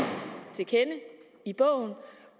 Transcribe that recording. til kende i bogen